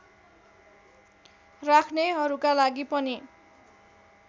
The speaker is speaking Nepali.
राख्नेहरूका लागि पनि